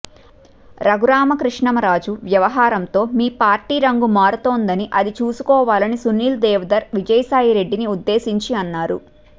రఘురామకృష్ణమ రాజు వ్యవహారంతో మీ పార్టీ రంగు మారుతోందని అది చూసుకోవాలని సునీల్ దేవధర్ విజయసాయి రెడ్డిని ఉద్దేశించి అన్నారు